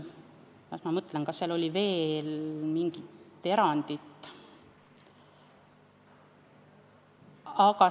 Las ma mõtlen, kas seal oli veel mingi erand.